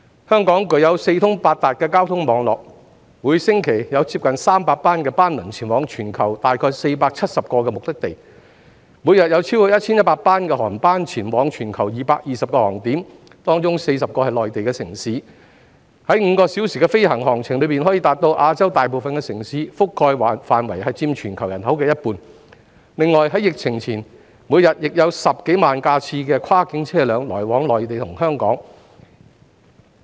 香港具有四通八達的交通網絡，每星期有接近300班班輪前往全球約470個目的地；每日有超過 1,100 班航班前往全球220個航點，當中40個是內地城市，在5個小時的飛行航程中，可到達亞洲大部分城市，覆蓋範圍佔全球人口一半；另外，在疫情前，每天亦有10多萬架次的跨境車輛來往內地與香港。